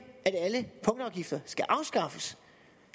at alle punktafgifter skal afskaffes